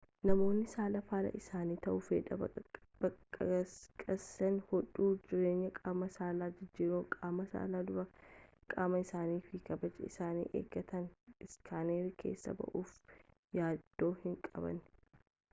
namoonni saala faallaa isaanii ta'uu fedhan baqaqsanii hodhuu jijjiirraa qaama saalaan jijjiirraa qaama saalaan dura qaama isaanii fi kabaja isaanii eeggatanii iskaanerii keessa ba'uuf yaaduu hin qaban